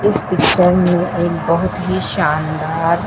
इस पिक्चर में एक बहोत ही शानदार--